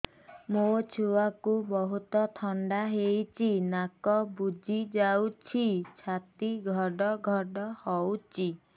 ମୋ ଛୁଆକୁ ବହୁତ ଥଣ୍ଡା ହେଇଚି ନାକ ବୁଜି ଯାଉଛି ଛାତି ଘଡ ଘଡ ହଉଚି